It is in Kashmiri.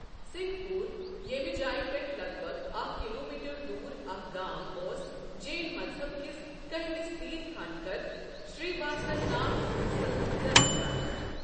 سِنٛگھ پوٗر، ییٚمہِ جایہِ پیٚٹھٕہ لگ بگ اَکھ کِلومیٖٹر دوٗر اَکھ گام، اوس جین مذہب کِس کٔہِمِس تِیرتھانکر، شرییاسن ناتھ سنز زینہٕ جایہ ۔